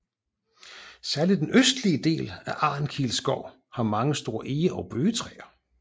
Særlig den østlige del af Arnkil Skov har mange store ege og bøgetræer